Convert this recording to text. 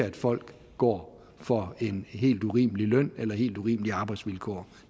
at folk går for en helt urimelig løn eller har helt urimelige arbejdsvilkår